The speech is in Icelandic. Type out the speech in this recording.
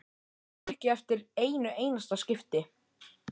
Ég man ekki eftir einu einasta skipti.